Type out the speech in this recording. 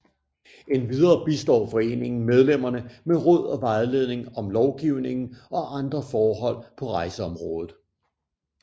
Endvidere bistår foreningen medlemmerne med råd og vejledning om lovgivningen og andre forhold på rejseområdet